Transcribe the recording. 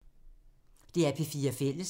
DR P4 Fælles